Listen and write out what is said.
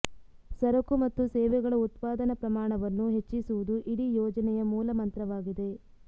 ಸರಕು ಮತ್ತು ಸೇವೆಗಳ ಉತ್ಪಾದನ ಪ್ರಮಾಣವನ್ನು ಹೆಚ್ಚಿಸುವುದು ಇಡೀ ಯೋಜನೆಯ ಮೂಲ ಮಂತ್ರವಾಗಿದೆ